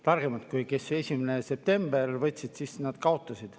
Targemad kui need, kes 1. september võtsid – nemad kaotasid.